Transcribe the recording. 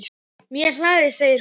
Mjög hlaðið segir hún.